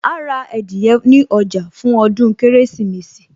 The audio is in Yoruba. Àà ra adìyẹ ní ọjà fún ọdún Kérésìmesì